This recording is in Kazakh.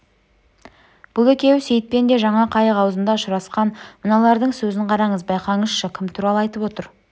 бұл екеуі сейітпен де жаңа қайық аузында ұшырасқан мыналардың сөзін қараңыз байқаңызшы кім туралы айтып отыр